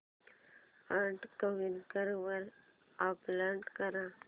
add Quikr वर upload कर